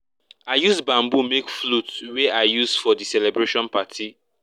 i use bamboo make flute wey i use for di celebration party